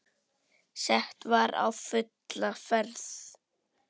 Sett var á fulla ferð.